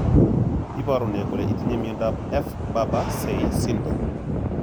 Iporu ne kole itinye miondap f Barber Say syndrome?